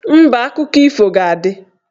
Mba, akụkọ ifo ga-adị